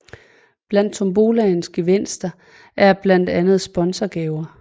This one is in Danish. Blandt tombolaens gevinster er blandt andet sponsorgaver